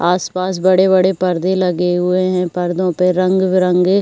आसपास बड़े-बड़े परदे लगे हुए हैं। पर्दों पे रंग बिरंगे --